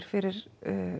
fyrir